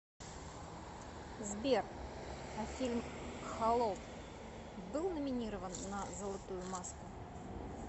сбер а фильм холоп был номинирован на золотую маску